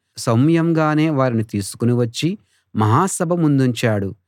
సౌమ్యంగానే వారిని తీసుకుని వచ్చి మహాసభ ముందుంచాడు